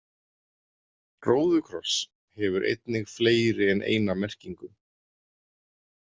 Róðukross hefur einnig fleiri en eina merkingu.